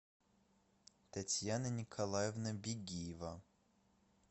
татьяна николаевна бегиева